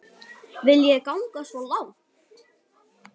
Viljið þið ganga svo langt?